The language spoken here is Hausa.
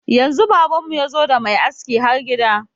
Yanzu baban mu yazo da mai aski har gida.